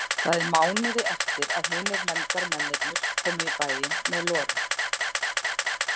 Það er mánuði eftir að hinir nefndarmennirnir komu í bæinn með Lauru.